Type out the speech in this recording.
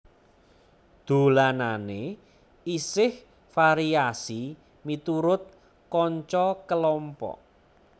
Dolanane isih variasi miturut kanca kelompok